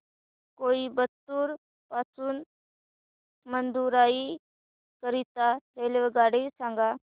कोइंबतूर पासून मदुराई करीता रेल्वेगाडी सांगा